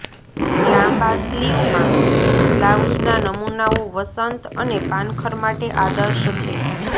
લાંબા સ્લીવમાં બ્લાઉઝના નમૂનાઓ વસંત અને પાનખર માટે આદર્શ છે